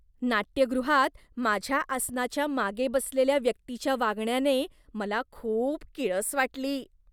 नाट्यगृहात माझ्या आसनाच्या मागे बसलेल्या व्यक्तीच्या वागण्याने मला खूप किळस वाटली.